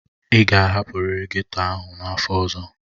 Ị ga-ahapụrịrị ghetto ahụ n'afọ ọzọ!